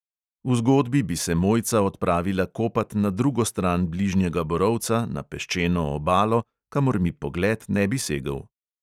V zgodbi bi se mojca odpravila kopat na drugo stran bližnjega borovca, na peščeno obalo, kamor mi pogled ne bi segel.